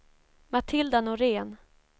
Matilda Norén